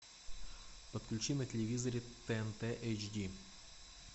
подключи на телевизоре тнт эйч ди